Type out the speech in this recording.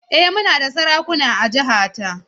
Eh muna da sarakuna a jihata.